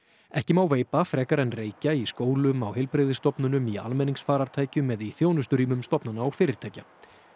ekki má veipa frekar en reykja í skólum á heilbrigðisstofnunum í almenningsfarartækjum eða í þjónusturýmum stofnana og fyrirtækja